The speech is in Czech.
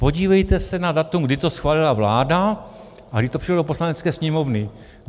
Podívejte se na datum, kdy to schválila vláda a kdy to přišlo do Poslanecké sněmovny.